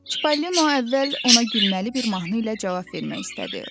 Çipollino əvvəl ona gülməli bir mahnı ilə cavab vermək istədi.